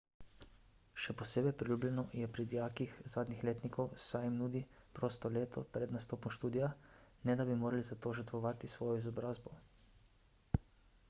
še posebej priljubljeno je pri dijakih zadnjih letnikov saj jim nudi prosto leto pred nastopom študija ne da bi morali za to žrtvovati svojo izobrazbo